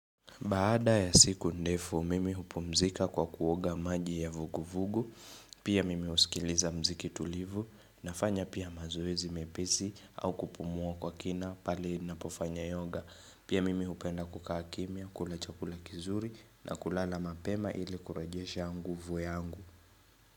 Baada ya siku ndefu, mimi hupumzika kwa kuoga maji ya vugu-vugu, pia mimi husikiliza mziki tulivu, nafanya pia mazoezi mepesi au kupumua kwa kina pale ninapofanya yoga. Pia mimi hupenda kukaa kimia, kula chakula kizuri na kulala mapema ili kurajesha nguvu yangu.